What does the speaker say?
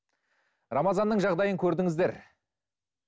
рамазанның жағдайын көрдіңіздер